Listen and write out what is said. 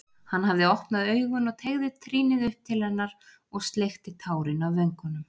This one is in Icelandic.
Hann hafði opnað augun og teygði trýnið upp til hennar og sleikti tárin af vöngunum.